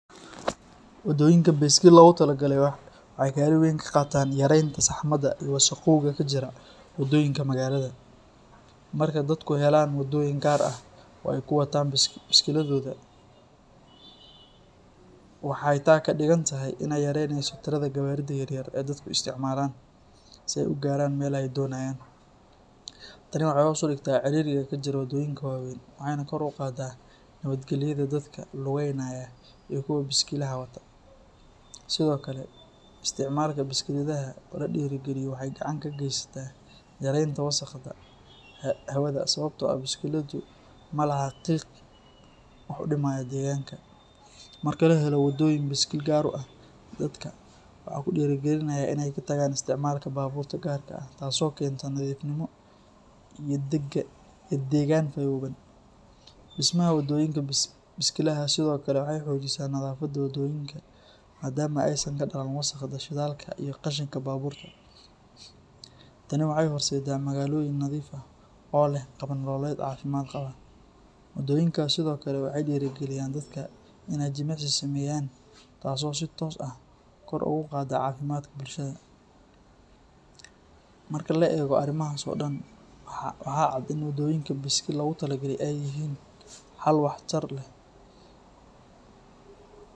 Wadooyinka biskil lagu talagalay waxay kaalin weyn ka qaataan yareynta saxmada iyo wasaqowga ka jira wadooyinka magaalada. Marka dadku helaan wadooyin gaar ah oo ay ku wataan biskiladooda, waxay taa ka dhigan tahay in ay yaraanayso tirada gawaarida yaryar ee dadku isticmaalaan si ay u gaaraan meelaha ay doonayaan. Tani waxay hoos u dhigtaa ciriiriga ka jira wadooyinka waaweyn waxayna kor u qaadaa nabadgelyada dadka lugaynaya iyo kuwa biskiladaha wata. Sidoo kale, isticmaalka biskiladaha oo la dhiirrigeliyo waxay gacan ka geysataa yareynta wasaqda hawada sababtoo ah biskiladu ma laha qiiq wax u dhimaya deegaanka. Marka la helo wadooyin biskil gaar u ah, dadka waxaa ku dhiirranaya inay ka tagaan isticmaalka baabuurta gaarka ah taasoo keenta nadiifnimo iyo deegaan fayoobaan. Dhismaha wadooyinka biskilaha sidoo kale waxay xoojisaa nadaafadda waddooyinka, maadaama aysan ka dhallan wasaqda shidaalka iyo qashinka baabuurta. Tani waxay horseeddaa magaalooyin nadiif ah oo leh qaab nololeed caafimaad qaba. Wadooyinkaas sidoo kale waxay dhiirrigeliyaan dadka in ay jimicsi sameeyaan taasoo si toos ah kor ugu qaadda caafimaadka bulshada. Marka la eego arrimahaas oo dhan, waxaa cad in wadooyinka biskil lagu talagalay ay yihiin xal waxtar leh.